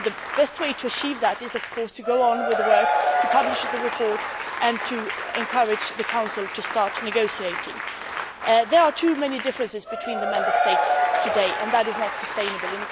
The best way to achieve that is to go on with the work, to publish the reports and to encourage the Council to start negotiating. There are too many differences between the Member States today and that is not sustainable.